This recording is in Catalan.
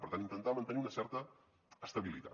per tant intentar mantenir una certa estabilitat